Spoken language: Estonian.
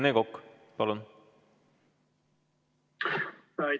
Rene Kokk, palun!